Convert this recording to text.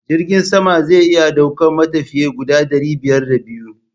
Jirgin sama zai iya daukan matafiya guda ɗari biyar da biyu.